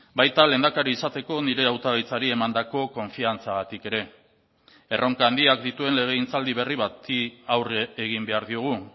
baita lehendakari izateko nire hautagaitzari emandako konfiantzagatik ere erronka handiak dituen legegintzaldi berri bati aurre egin behar diogu